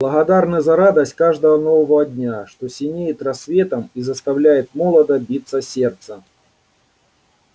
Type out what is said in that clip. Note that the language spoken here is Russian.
благодарны за радость каждого нового дня что синеет рассветом и заставляет молодо биться сердце